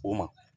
O ma